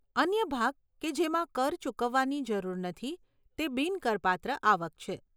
અન્ય ભાગ કે જેમાં કર ચૂકવવાની જરૂર નથી તે બિન કરપાત્ર આવક છે.